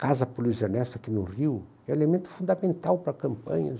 casa para o Luiz Ernesto aqui no Rio é elemento fundamental para a campanha.